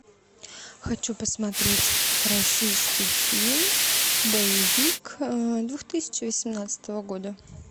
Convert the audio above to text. хочу посмотреть российский фильм боевик две тысячи восемнадцатого года